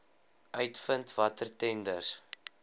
uitvind watter tenders